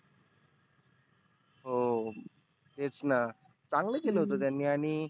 हो तेचना. चांगल केलं होतं त्यांनी आणि